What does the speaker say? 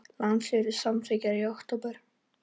Landsfundur Samfylkingar í október